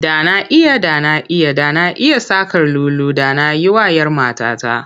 Da na iya, da na iya, da na iya saƙar lulu da na yi wa'yar matata.